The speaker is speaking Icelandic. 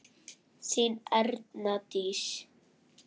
Þín Erna Dís.